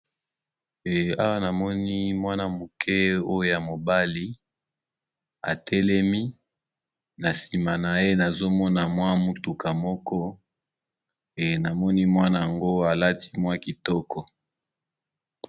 Awa namoni mwana moke oyo ya mobali atelemi na nsima na ye nazomona mwa mutuka moko e namoni mwana yango alati mwa kitoko.